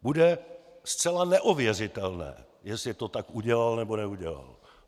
Bude zcela neověřitelné, jestli to tak udělal, nebo neudělal.